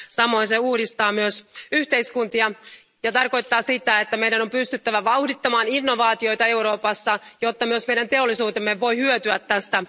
Samoin se uudistaa myös yhteiskuntia ja tarkoittaa sitä, että meidän on pystyttävä vauhdittamaan innovaatioita Euroopassa, jotta myös meidän teollisuutemme voi hyötyä tästä.